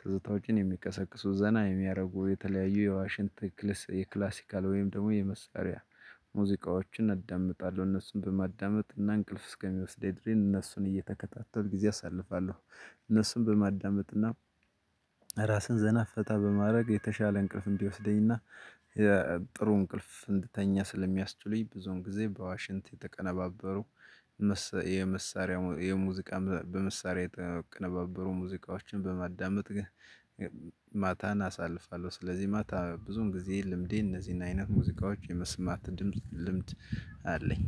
ትዝታዎችን የሚቀሰቅሱ ዘና የሚያደርጉ የተለያዩ የዋሽንት ክልስ የክላሲካል ወይም ደግሞ የመሳሪያ ሙዚቃዎችን እደምጣለሁ እነሱን በማዳመጥ እና እንቅልፍ እስከሚወስደኝ ድሬን እነሱን እየተከታተልኩ ጊዜ አሳልፋለሁ። እነሱን በማዳመጥ እና ራስህን ዘና ፈታ በማድረግ የተሻለ እንቅልፍን እንዲወስደኝና የጥሩ እንቅልፍ እንድተኛ ስለሚያስችሉኝ። ብዙውን ጊዜ በዋሽንት የተቀነባበሩ የመሳሪያ የሙዚቃ በመሳሪያ ተቀነባበሩ ሙዚቃዎችን በማዳመጥ ግን ማታን አሳልፋለሁ። ስለዚህ ማታ ብዙን ጊዜ ልምዴ እነዚህን አይነት ሙዚቃዎች የመስማት ድምጽ ልምድ አለኝ።